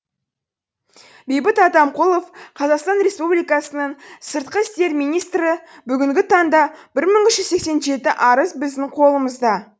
бейбіт атамқұлов қазақстан республикасының сыртқы істер министрі бүгінгі таңда бір мың үш жүз сексен жеті арыз біздің қолымызда